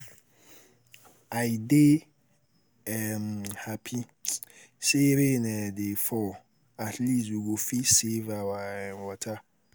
I dey um happy say rain um dey fall at least we go save our um water